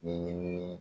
Ɲɛɲinini